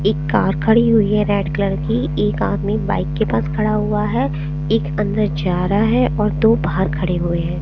एक कार खड़ी हुयी है रेड कलर की एक आदमी बाइक के पास खड़ा हुआ है एक अन्दर जा रहा है और दो बाहर खड़े हुए हैं।